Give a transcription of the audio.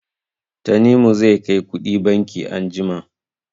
Tanimu zai kai kuɗi banki anjima.